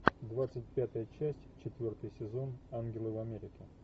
двадцать пятая часть четвертый сезон ангелы в америке